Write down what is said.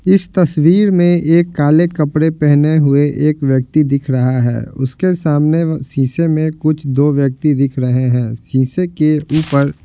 इस तस्वीर में एक काले कपड़े पहने हुए एक व्यक्ति दिख रहा है उसके सामने शीशे में कुछ दो व्यक्ति दिख रहे हैं सीसे के ऊपर --